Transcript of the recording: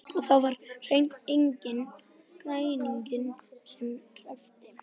Og það var hreint enginn græningi sem hreppti.